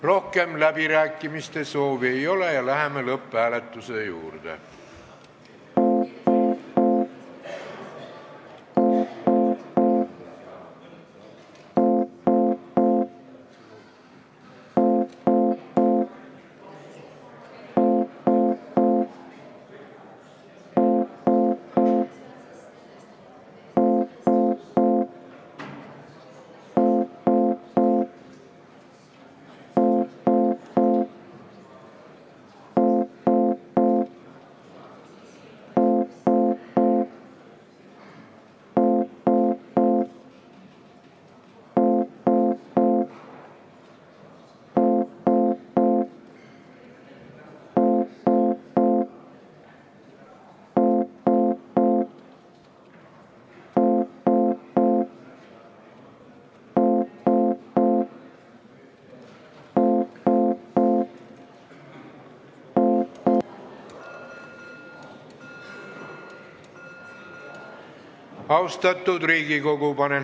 Rohkem läbirääkimiste soovi ei ole, läheme lõpphääletuse juurde.